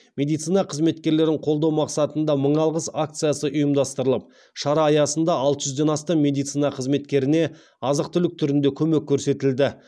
медицина қызметкерлерін қолдау мақсатында мың алғыс акциясы ұйымдастырылып шара аясында алты жүзден астам медицина қызметкеріне азық түлік түрінде көмек көрсетілді